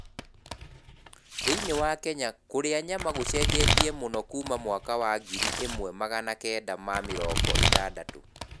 Thĩinĩ wa Kenya kũrĩa nyama gũcenjetie mũno kuuma mwaka wa ngiri ĩmwe magana kenda na mĩrongo ĩtandatũ.